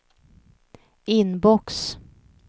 inbox